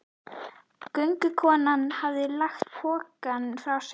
Göngukonan hafði lagt pokann frá sér.